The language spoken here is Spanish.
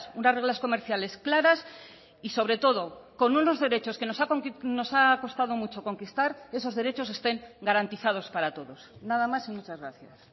unas reglas comerciales claras y sobre todo con unos derechos que nos ha costado mucho conquistar esos derechos estén garantizados para todos nada más y muchas gracias